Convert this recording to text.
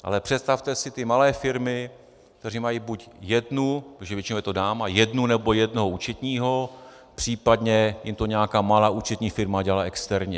Ale představte si ty malé firmy, které mají buď jednu - protože většinou je to dáma - jednu nebo jednoho účetního, případně jim to nějaká malá účetní firma dělá externě.